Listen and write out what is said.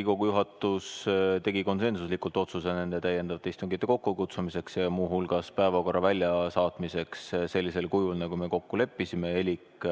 Riigikogu juhatus tegi konsensuslikult otsuse täiendavate istungite kokkukutsumiseks ja muu hulgas päevakorra väljasaatmiseks sellisel kujul, nagu me kokku leppisime, elik